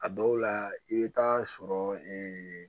A dɔw la i bɛ taa sɔrɔ